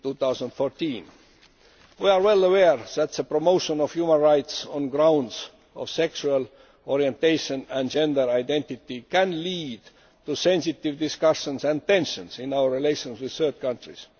2014. We are well aware that the promotion of human rights on the grounds of sexual orientation and gender identity can lead to sensitive discussions and tensions in our relations with third countries.